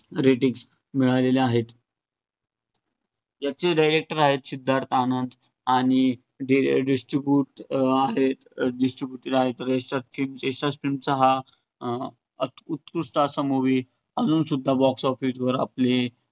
याचे director आहेत सिद्धार्थ आनंद आणि distribut अं आहे distributor आहेत यश राज फिल्म. यश राज फिल्मचा हा उत~ उत्कृष्ठ असा movie अजून सुद्धा box office वर आपली